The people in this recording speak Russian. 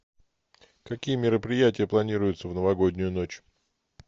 какие мероприятия планируются в новогоднюю ночь